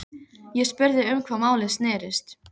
Ég spurði um hvað málið snerist.